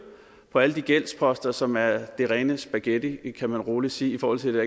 på alle de gældsposter som er det rene spaghetti kan man roligt sige i forhold til det